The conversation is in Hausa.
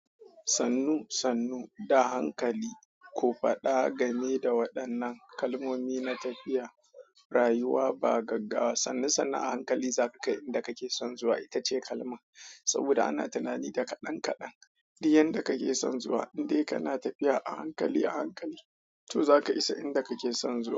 Sannu sannu da hankali ko faɗa game da waɗannan kalmomi na tafiya, rayuwa ba gaggawa. Sannu sannu a hankali za ka kai inda kake son zuwa. Ita ce kalman saboda ana tunani da kadan kadan duk yanda kake son zuwa, in dai kana tafiya a hankali a hankali, to za ka isa inda kake son zuwa.